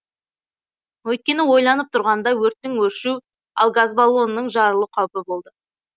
өйткені ойланып тұрғанда өрттің өршу ал газ баллонның жарылу қаупі болды